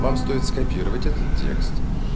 вам стоит скопировать этот текст